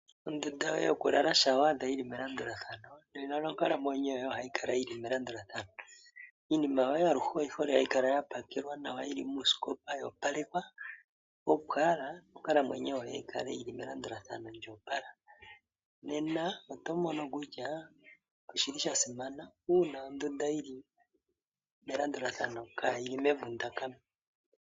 Ondunda yoye yokulala shampa wa adha yili melandulathano nena nonkalamwenyo yoye ohayi kala yili melandulathano. Iinima yoye aluhe oyi hole hayi kala yapakelwa nawa yili muusikopa yo opalekwa, opo owala onkalamwenyo yoye yi kale yili melandulathano lyo opala. Nena oto mono kutya oshili shasimana uuna ondunda yili melandulathano kaayili mevundakano.